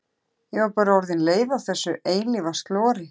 Ég var bara orðin leið á þessu eilífa slori.